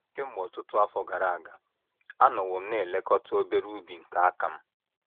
Kemgbe ọtụtụ afọ gara aga, anọwo m na - elekọta obere ubi nke aka m.